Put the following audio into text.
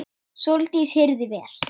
Sóldís heyrði vel.